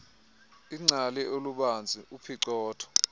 ingcali olubanzi uphicotho